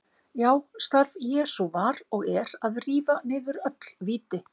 Já, starf Jesú var og er að rífa niður öll víti.